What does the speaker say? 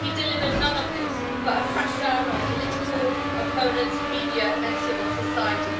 He delivered none of this, but a crackdown on political opponents, media and civil society.